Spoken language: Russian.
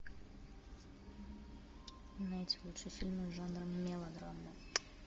найти лучшие фильмы жанра мелодрама